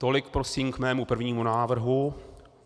Tolik prosím k mému prvnímu návrhu.